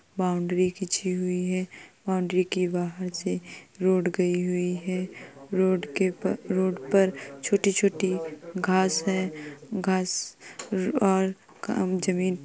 Boundary खींची हुई है। बाउंड्री के बाहर से रोड गयी हुई है। रोड के रोड पर छोटी-छोटी घास है। घास और जमीन --